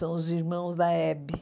São os irmãos da Hebe.